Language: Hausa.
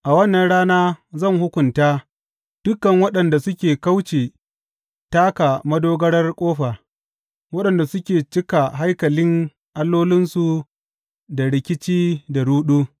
A wannan rana zan hukunta dukan waɗanda suke kauce taka madogarar ƙofa, waɗanda suke cika haikalin allolinsu da rikici da ruɗu.